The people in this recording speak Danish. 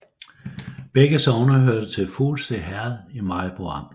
Begge sogne hørte til Fuglse Herred i Maribo Amt